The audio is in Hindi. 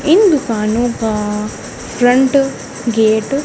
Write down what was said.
इन दुकानों का फ्रंट गेट --